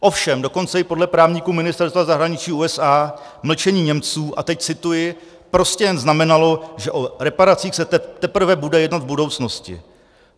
Ovšem dokonce i podle právníků Ministerstva zahraničí USA mlčení Němců - a teď cituji - prostě jen znamenalo, že o reparacích se teprve bude jednat v budoucnosti.